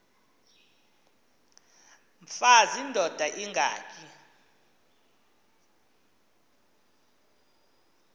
mfaz indod ingaty